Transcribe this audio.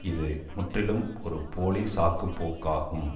இது முற்றிலும் ஒரு போலி சாக்குப்போக்காகும்